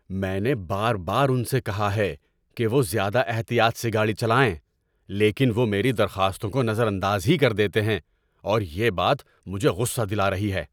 میں نے بار بار ان سے کہا ہے کہ وہ زیادہ احتیاط سے گاڑی چلائیں، لیکن وہ میری درخواستوں کو نظر انداز ہی کر دیتے ہیں، اور یہ بات مجھے غصہ دلا رہی ہے۔